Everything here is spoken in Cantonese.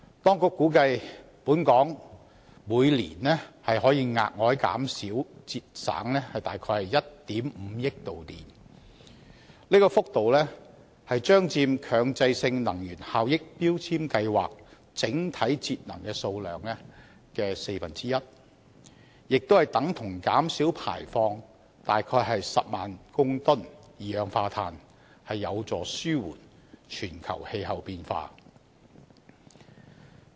當局估計本港每年可額外節省約1億 5,000 萬度電，這幅度將佔強制性能源效益標籤計劃整體節能數量的四分之一，亦等於減少排放約10萬公噸二氧化碳，有助紓緩全球氣候變化。